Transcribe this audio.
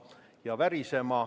Taavi Rõivas, palun!